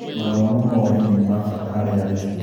Mathomo ma ũrĩmi nĩ mabata harĩ arĩmi.